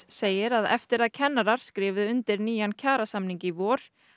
segir að eftir að kennarar skrifuðu undir nýjan kjarasamning í vor